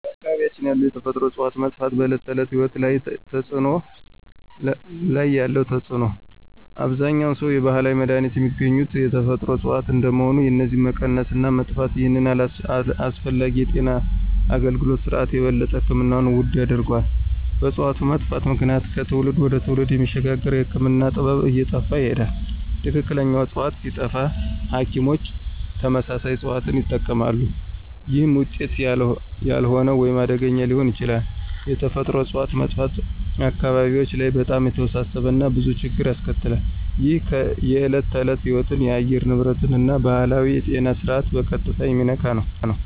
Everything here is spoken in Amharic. በአካባቢያችን ያሉ የተፈጥሮ እፅዋት መጥፋት በዕለት ተዕለት ሕይወት ላይ ያለው ተጽዕኖ አብዛኛውን ሰው የባህላዊ መድሃኒት የሚገኙት ከተፈጥሮ እጽዋት እንደመሆኑ የነዚህ መቀነስ እና መጥፋት ይህንን አስፈላጊ የጤና አገልግሎት ስርዓት የበለጠ ሕክምናውን ውድ ያደርገዋል። በእጽዋቱ መጥፋት ምክንያት ከትውልድ ወደ ትውልድ የሚሸጋገረው የህክምና ጥበብ እየጠፋ ይሄዳል። ትክክለኛ ዕፅዋት ሲጠፋ ሐኪሞች ተመሳሳይ እጽዋትን ይጠቀማሉ፣ ይህም ውጤታማ ያልሆነ ወይም አደገኛ ሊሆን ይችላል። የተፈጥሮ እጽዋት መጥፋት አካባቢዎች ላይ በጣም የተወሳሰበ እና ብዙ ችግር ያስከትላል። ይህ የዕለት ተዕለት ሕይወትን፣ የአየር ንብረትን እና ባህላዊውን የጤና ስርዓት በቀጥታ የሚነካ ነው።